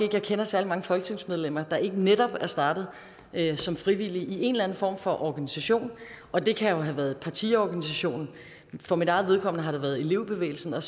jeg kender særlig mange folketingsmedlemmer der ikke netop er startet som frivillig i en eller anden form for organisation og det kan jo have været partiorganisationen for mit eget vedkommende har det været elevbevægelsen og